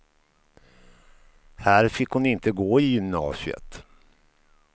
Här fick hon inte gå i gymnasiet.